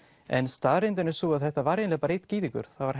en staðreyndin er sú að þetta var eiginlega bara einn gyðingur það var